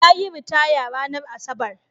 Yayi ritaya ranar Asabar.